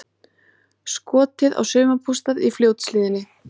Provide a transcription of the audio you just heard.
Skotið á sumarbústað í Fljótshlíðinni